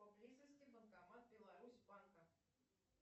поблизости банкомат беларусьбанка